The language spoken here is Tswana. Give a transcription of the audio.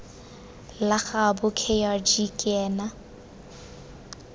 la gaabo kgr ke ena